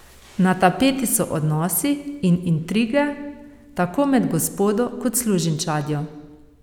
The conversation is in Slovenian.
Na tapeti so odnosi in intrige tako med gospodo kot služinčadjo.